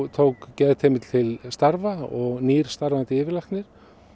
tók geðteymið til starfa og nýr starfandi yfirlæknir